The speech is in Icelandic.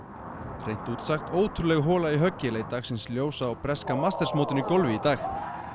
hreint út sagt ótrúleg hola í höggi leit dagsins ljós á breska meistaramótinu í golfi í dag